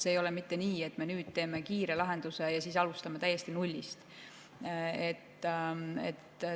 See ei ole mitte nii, et me nüüd teeme kiire lahenduse ja siis alustame täiesti nullist.